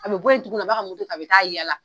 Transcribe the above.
A bɛ bɔ yen in tuguni a b'a ka a bɛ taa yaala.